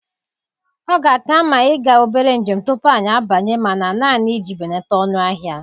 Ọ ga-aka mma ịga obere njem tupu anyị abanye mana, naanị iji belata ọnụ ahịa.